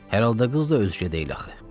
Hər halda qız da özgə deyil axı.